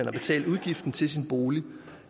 har betalt udgiften til sin bolig